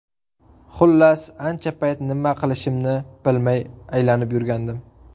Xullas, ancha payt nima qilishimni bilmay aylanib yurdim.